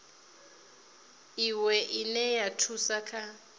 iwe ine ya thusa kha